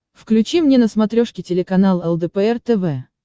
включи мне на смотрешке телеканал лдпр тв